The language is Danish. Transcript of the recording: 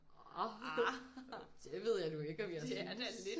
Orh det ved jeg nu ikke om jeg synes